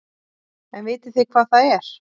En vitið þið hvað það er?